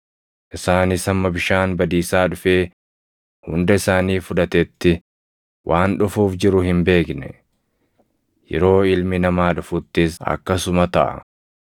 Isaanis hamma bishaan badiisaa dhufee hunda isaanii fudhatetti waan dhufuuf jiru hin beekne. Yeroo Ilmi Namaa dhufuttis akkasuma taʼa.